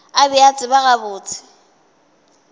a be a tseba gabotse